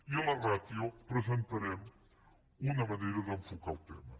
i en la ràtio presentarem una manera d’enfocar el tema